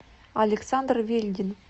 александр вельдин